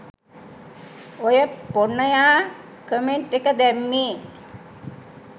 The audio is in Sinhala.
ඔය පොන්නයා කමෙන්ට් එක දැම්මේ